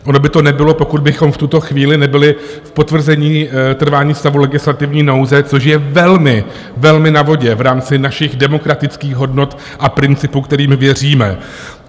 Ono by to nebylo, pokud bychom v tuto chvíli nebyli v potvrzení trvání stavu legislativní nouze, což je velmi, velmi na vodě v rámci našich demokratických hodnot a principů, kterým věříme.